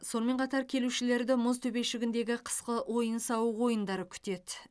сонымен қатар келушілерді мұз төбешігіндегі қысқы ойын сауық ойындары күтеді